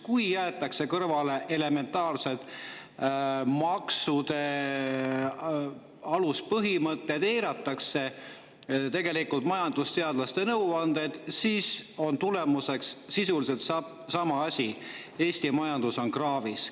Kui jäetakse kõrvale elementaarsed maksude aluspõhimõtted, eiratakse tegelikult majandusteadlaste nõuandeid, siis on tulemuseks sisuliselt sama asi: Eesti majandus on kraavis.